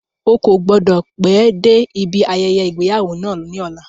Ó kò gbọ́dọ̀ pẹ́ dé ibi ayẹyẹ ìgbéyàwó náà ní ọ̀la.